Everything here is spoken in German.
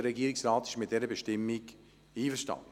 Der Regierungsrat ist mit diesem Antrag einverstanden.